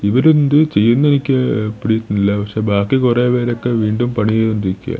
ഇവരേന്ത് ചെയ്യ്ന്നിൽക്ക പിടി കിട്ടുന്നില്ല പക്ഷേ ബാക്കി കൊറെ പേരൊക്കെ വീണ്ടും പണി ചെയ്തോണ്ടിരിക്കാ.